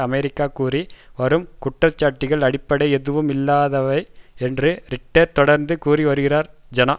America கூறி வரும் குற்றச்சாட்டுகள் அடிப்படை எதுவும் இல்லாதவை என்று ரிட்டர் தொடர்ந்து கூறி வருகிறார் ஜநா